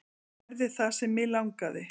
Gerði það sem mig langaði.